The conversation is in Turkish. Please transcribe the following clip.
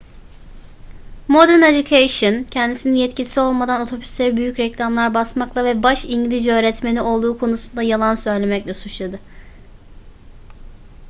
modern education kendisini yetkisi olmadan otobüslere büyük reklamlar basmakla ve baş i̇ngilizce öğretmeni olduğu konusunda yalan söylemekle suçladı